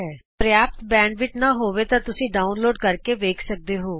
ਜੇ ਤੁਹਾਡੇ ਪ੍ਰਯਾਪਤ ਬੈਂਡਵਿੱਥ ਨਹੀਂ ਹੈ ਤਾਂ ਤੁਸੀਂ ਇਸ ਨੂੰ ਡਾਊਨਲੋਡ ਕਰਕੇ ਵੀ ਦੇਖ ਸਕਦੇ ਹੋ